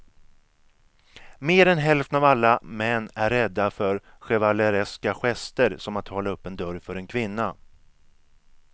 Mer än hälften av alla män är rädda för chevalereska gester som att hålla upp en dörr för en kvinna.